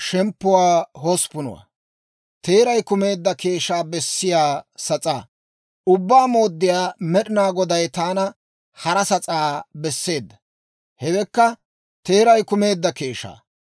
Ubbaa Mooddiyaa Med'inaa Goday taana hara sas'aa besseedda; hewekka, teeray kumeedda keeshshaa.